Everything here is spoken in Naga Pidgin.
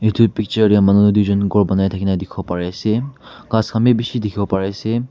Etu picture dey manu duijun ghor banai thakina dikwo pari ase ghas khan bhi bishi dihiwo pari ase.